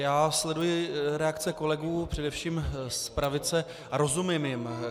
Já sleduji reakce kolegů především z pravice a rozumím jim.